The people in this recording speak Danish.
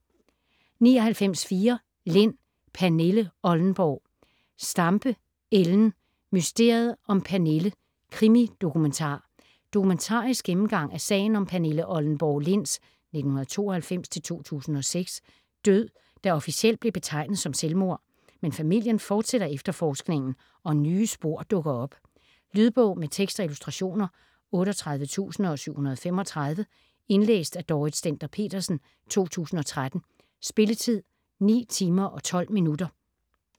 99.4 Lind, Pernille Oldenborg Stampe, Ellen: Mysteriet om Pernille: krimi-dokumentar Dokumentarisk gennemgang af sagen om Pernille Oldenborg Linds (1992-2006) død, der officielt bliver betegnet som selvmord. Men familien fortsætter efterforskningen og nye spor dukker op. Lydbog med tekst og illustrationer 38735 Indlæst af Dorrit Stender-Petersen, 2013. Spilletid: 9 timer, 12 minutter.